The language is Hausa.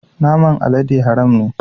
Naman alade haram ne.